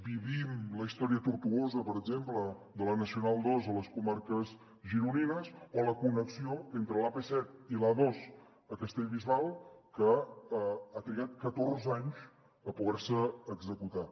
vivim la història tortuosa per exemple de la nacional ii a les comarques gironines o la connexió entre l’ap set i l’a dos a castellbisbal que ha trigat catorze anys a poder se executar